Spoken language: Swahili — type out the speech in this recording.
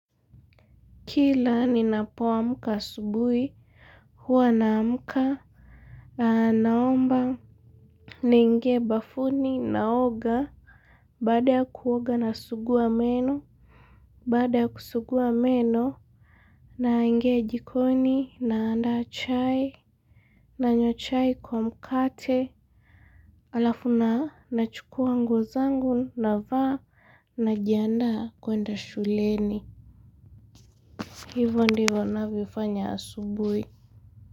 Kila ninapoamka asubuhi, huwa naamka. Naomba niingie bafuni naoga. Baada ya kuoga nasuguwa meno. Baada ya kusuguwa meno naingia jikoni naanda chai nanywa chai kwa mkate halafu na nachukua nguo zangu navaa najiandaa kwenda shuleni. Hivo ndivo navyofanya asubuhi.